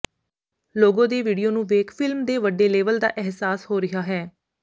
logo ਦੇ video ਨੂੰ ਵੇਖ ਫ਼ਿਲਮ ਦੇ ਵੱਡੇ ਲੇਵਲ ਦਾ ਅਹਿਸਾਸ ਹੋ ਰਿਹਾ ਹੈ